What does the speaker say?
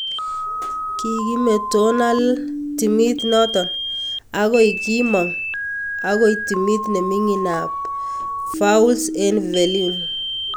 Kikimetonal timit noto ak koi kimang akoi timit nemingin ab Vaulx-en-Velin.